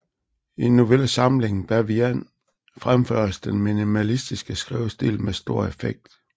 I novellesamlingen Bavian fremføres den minimalistiske skrivestil med stor effekt